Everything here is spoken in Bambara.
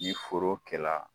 Ni foro kɛla